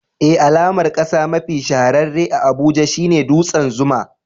Eh, alamar kasa mafi shahararre a Abuja shine dutsen Zuma.